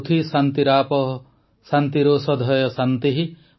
ପୃଥ୍ୱୀ ଶାନ୍ତିରାପଃ ଶାନ୍ତିରୋଷଧୟଃ ଶାନ୍ତିଃ